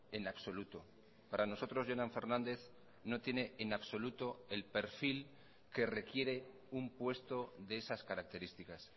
en absoluto para nosotros jonan fernández no tiene en absoluto el perfil que requiere un puesto de esas características